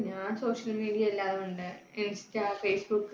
ഞാൻ social media എല്ലാം ഉണ്ട് insta, facebook ക്ക്.